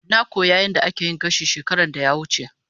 Na koyi yadda ake yin gashi shekaran da ya wuce.